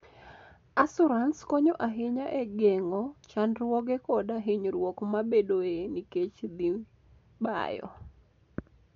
Asurans konyo ahinya e geng'o chandruoge koda hinyruok mabedoe nikech dhi bayo.